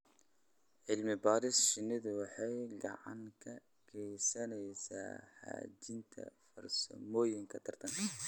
Cilmi-baarista shinnidu waxay gacan ka geysaneysaa hagaajinta farsamooyinka taranka.